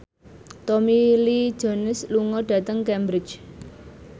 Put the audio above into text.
Tommy Lee Jones lunga dhateng Cambridge